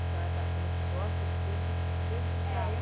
A senhora falou que gosta de dedi, se dedicar é